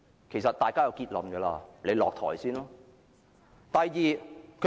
其實大家已有結論，請他首先下台。